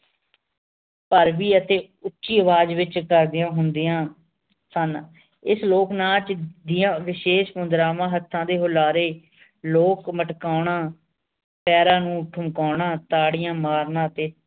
ਅਤੇ ਉੱਚੀ ਅਵਾਜ ਵਿਚ ਹੁੰਦੀਆਂ ਸਨ ਇਸ ਲੋਕ ਨਾਚ ਦੀਆਂ ਵਿਸ਼ੇਸ਼ ਮੁਦ੍ਰਾਵਾਂ ਹੱਥਾਂ ਦੇ ਹੁਲਾਰੇ ਲੋਕ ਮਟਕਾਉਣਾ ਪੈਰਾਂ ਨੂੰ ਠੁਮਕਾਉਣਾ ਤਾੜੀਆਂ ਮਾਰਨਾ ਤੇ